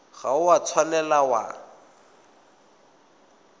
ga o a tshwanela wa